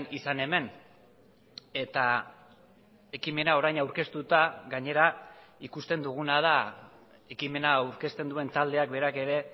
izan hemen eta ekimena orain aurkeztuta gainera ikusten duguna da ekimena aurkezten duen taldeak berak ere